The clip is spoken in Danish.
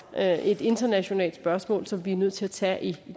er et internationalt spørgsmål som vi er nødt til at tage i